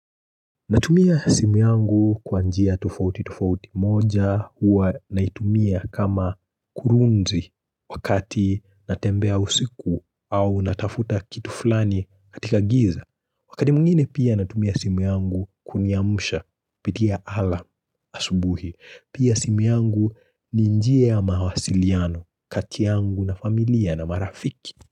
Natumia simu yangu kwa njia tufauti tufauti moja huwa naitumia kama kurunzi wakati natembea usiku au natafuta kitu fulani katika giza. Wakati mwingine pia natumia simu yangu kuniamusha pitia alarm asubuhi. Pia simu yangu ninjia ya mawasiliano kati yangu na familia na marafiki.